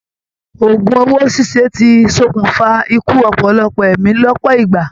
Ògún owó ṣiṣe tí sọkún fa ikú ọpọlọpọ ẹ̀mí lọpọ ìgbà.